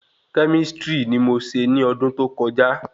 Kẹ́místrì ni mó ṣe ní ọdún tó kọjá